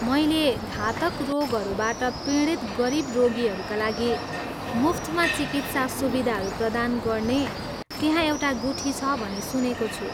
मैले घातक रोगहरूबाट पीडित गरिब रोगीहरूका लागि मुफ्तमा चिकित्सा सुविधाहरू प्रदान गर्ने त्यहाँ एउटा गुठी छ भनी सुनेको छु।